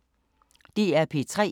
DR P3